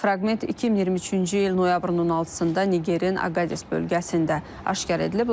Fraqment 2023-cü il noyabrın 16-da Nigerin Aqadis bölgəsində aşkar edilib.